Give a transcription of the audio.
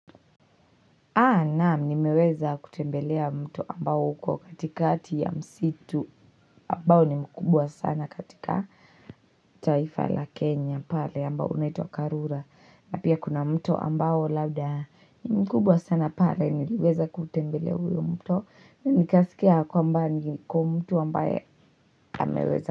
Naam, nimeweza kutembelea mto ambao uko katikati ya msitu ambao ni mkubwa sana katika taifa la Kenya pale ambao unaitwa karura. Na pia kuna mto ambao labda ni mkubwa sana pale nimeweza kutembelea huyo mto. Nikaskia kwamba niko mto ambaye ameweza.